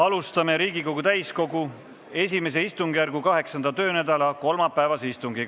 Alustame Riigikogu täiskogu I istungjärgu 8. töönädala kolmapäevast istungit.